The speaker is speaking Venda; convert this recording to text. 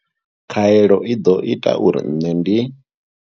Khaelo i ḓo ita uri nṋe ndi.